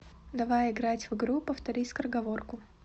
давай играть в игру повтори скороговорку